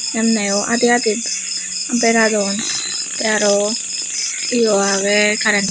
emneyo adi adi beradon tay aro yo agey karen.